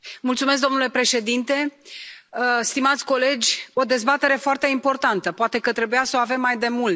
Domnule președinte, stimați colegi, o dezbatere foarte importantă, poate că trebuia să o avem mai demult.